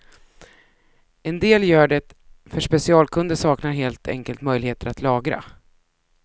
En del gör det för specialkunder saknar helt enkelt möjligheter att lagra.